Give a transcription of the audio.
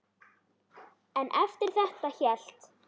En eftir þetta hélt